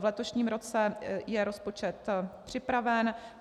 V letošním roce je rozpočet připraven.